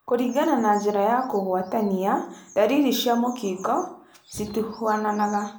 Kũringana na njira cia kũgwatania, ndariri cia mũkingo citihuananaga.